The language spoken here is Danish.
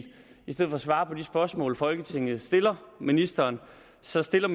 stedet for at svare på de spørgsmål folketinget stiller ministeren selv stiller